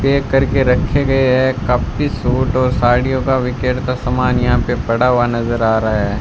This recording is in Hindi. पैक करके रखे गए है काफी सूट और साड़ियों का विकेट का सामान यहां पे पड़ा हुआ नजर आ रहा है।